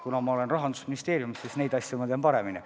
Kuna ma olen Rahandusministeeriumis, siis neid teisi asju ma tean paremini.